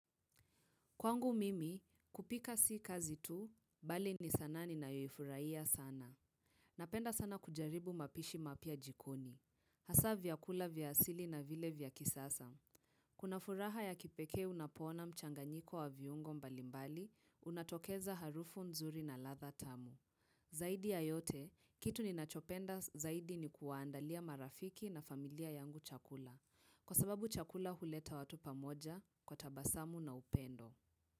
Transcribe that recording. Kwangu mimi, kupika si kazi tu, bali ni sanaa ninayoifurahia sana. Napenda sana kujaribu mapishi mapya jikoni. Hasa vyakula vya asili na vile vya kisasa. Kuna furaha ya kipekee unapoona mchanganyiko wa viungo mbalimbali, unatokeza harufu nzuri na ladha tamu. Zaidi ya yote, kitu ninachopenda zaidi ni kuwaandalia marafiki na familia yangu chakula. Kwa sababu chakula huleta watu pamoja kwa tabasamu na upendo.